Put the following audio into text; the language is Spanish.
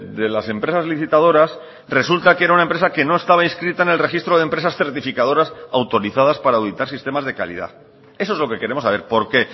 de las empresas licitadoras resulta que era una empresa que no estaba inscrita en el registro de empresas certificadoras autorizadas para auditar sistemas de calidad eso es lo que queremos saber por qué